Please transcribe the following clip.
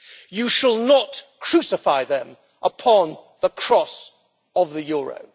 You shall not crucify them upon the cross of the euro.'